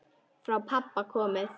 Frá pabba komið.